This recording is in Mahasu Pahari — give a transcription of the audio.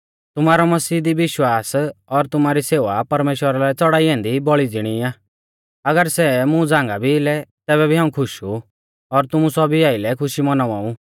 तुमारौ मसीह दी विश्वास और तुमारी सेवा परमेश्‍वरा लै च़ौड़ाई ऐन्दी बौल़ी ज़िणी आ अगर सै मुं झ़ांगा भी लै तैबै भी हाऊं खुश ऊ और तुमु सौभी आइलै खुशी मौनावा ऊ